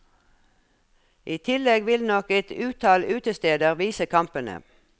I tillegg vil nok et utall utesteder vise kampene.